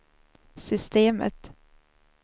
systemet